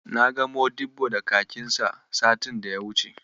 Na ga Modibbo da kakinksa satin da ya wuce.